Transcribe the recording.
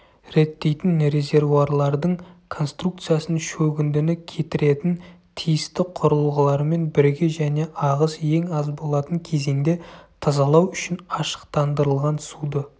реттейтін резервуарлардың конструкциясын шөгіндіні кетіретін тиісті құрылғылармен бірге және ағыс ең аз болатын кезеңде тазалау үшін ашықтандырылған суды